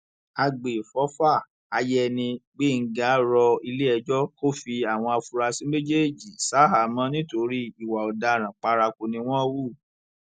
àgbẹfọfà àyẹni gbẹngà rọ iléẹjọ kò fi àwọn afurasí méjèèjì ṣaháàmọ nítorí ìwà ọdaràn paraku ni wọn hù